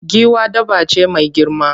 Giwa dabba ce mai girma.